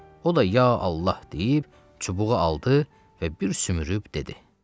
O da ya Allah deyib, çubuğu aldı və bir sümürüb dedi: